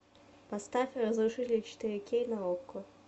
поставь разрушитель четыре кей на окко